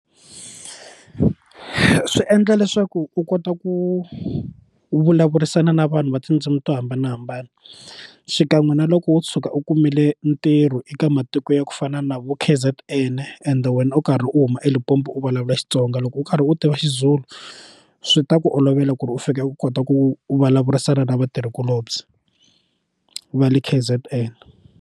Swi endla leswaku u kota ku vulavurisana na vanhu va tindzimi to hambanahambana xikan'we na loko wo tshuka u kumile ntirho eka matiko ya ku fana na vo KZN ende wena u karhi u huma eLimpopo u vulavula Xitsonga loko u karhi u tiva Xizulu swi ta ku olovela ku ri u fika u kota ku vulavurisana na vatirhikulobye va le KZN.